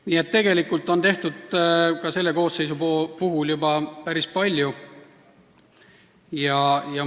Nii et tegelikult on ka selle koosseisu ajal juba päris palju tehtud.